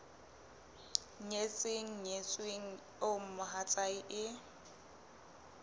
nyetseng nyetsweng eo mohatsae e